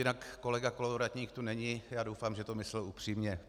Jinak kolega Kolovratník tu není, já doufám, že to myslel upřímně.